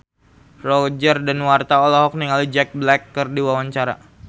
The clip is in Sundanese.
Roger Danuarta olohok ningali Jack Black keur diwawancara